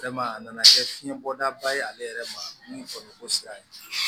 a nana kɛ fiɲɛ bɔda ba ye ale yɛrɛ ma min fɔ sira ye